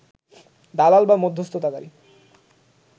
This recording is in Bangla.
দালাল বা মধ্যস্থতাকারী